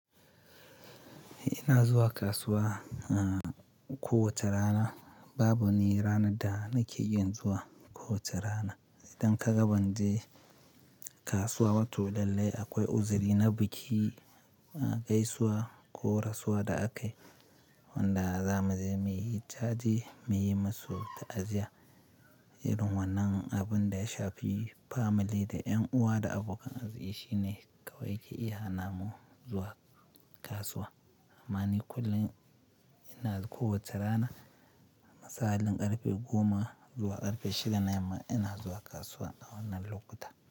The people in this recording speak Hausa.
Ina zuwa kasuwa, uh, kowace rana. Babu ni rana da nake iya zuwa kowace rana. Idan ka gaban je kasuwa ba, to lallai akwai uzuri na biki, a gaisuwa ko rasuwa da akayi wanda za mu je muyi jaje muyi musu ta'aziyya. Irin wannan abin da ya shafi family da 'yan uwa da abokan arziki shine kawai ke iya hana mu zuwa kasuwa. Amma ni kullum ina ga kowace rana, masa'alin ƙarfe goma zuwa ƙarfe shida na yamma ina zuwa kasuwa a wannan lokuta.